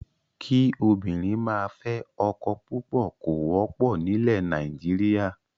Kí obìnrin máa fẹ́ ọkọ púpọ̀ kò wọ́pọ̀ nílẹ̀ Nàìjíríà.